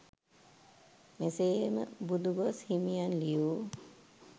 මෙසේම බුදුගොස් හිමියන් ලියූ